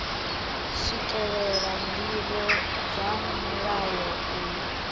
swikelela ndivho dza mulayo uyu